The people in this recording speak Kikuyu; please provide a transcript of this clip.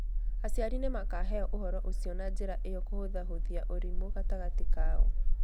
Aciari nĩ makaheo ũhoro ũcio na njĩra ĩyo kũhũthahũthia ũrimũ gatagatĩ kao.